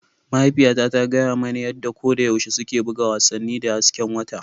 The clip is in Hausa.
Mahaifiyata ta gaya mani yadda koyaushe suke buga wasannin da hasken wata.